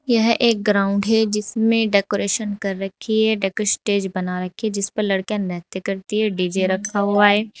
यह एक ग्राउंड है जिसमे डेकोरेशन कर रखी है डेको स्टेज बना रखी है जिस पर लड़कियां नृत्य करती है डी_जे रखा हुआ है।